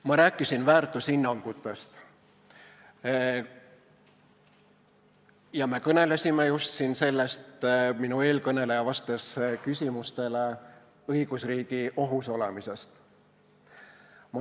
Ma rääkisin väärtushinnangutest ja äsja me kõnelesime siin – minu eelkõneleja vastas küsimustele – õigusriigi ohus olemisest.